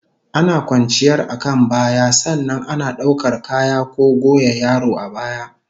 Ana kwanciyar akan baya, sannan ana daukar kaya ko goya yaro a baya